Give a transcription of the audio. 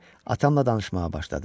Atamla danışmağa başladım.